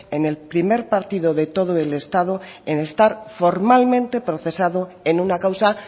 en el primero partido de todo el estado en estar formalmente procesado en una causa